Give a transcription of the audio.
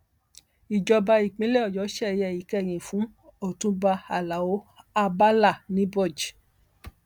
ìjọba ìpínlẹ ọyọ ṣeye ìkẹyìn fún ọtúnba alao abala niboj